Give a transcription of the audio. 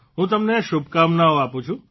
હું તમને શુભકામનાઓ આપું છું